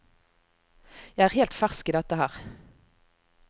Jeg er helt fersk i dette her.